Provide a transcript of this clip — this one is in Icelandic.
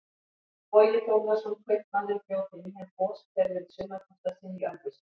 Bogi Þórðarson kaupmaður bjó til nýjan goshver við sumarbústað sinn í Ölfusi.